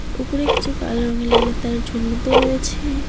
উপরে কিছু কালো রঙের লাইন এর তার ঝুলন্ত রয়েছে।